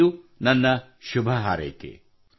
ಇದು ನಿಮಗೆಲ್ಲರಿಗೂ ನನ್ನ ಶುಭ ಹಾರೈಕೆ